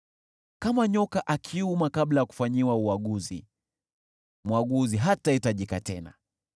Kama nyoka akiuma kabla ya kufanyiwa uaguzi, mwaguzi hatahitajika tena.